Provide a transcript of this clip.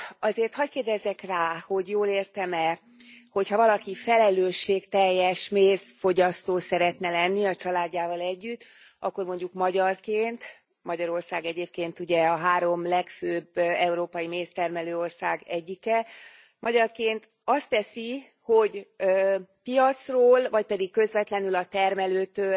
Azért hagy kérdezzek rá, hogy jól értem e, hogy ha valaki felelősségteljes mézfogyasztó szeretne lenni, a családjával együtt, akkor mondjuk magyarként Magyarország egyébként ugye a három legfőbb európai méztermelő ország egyike azt teszi, hogy piacról, vagy pedig közvetlenül a termelőtől